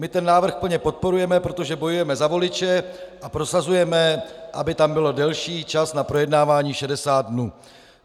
My ten návrh plně podporujeme, protože bojujeme za voliče a prosazujeme, aby tam byl delší čas na projednávání 60 dnů.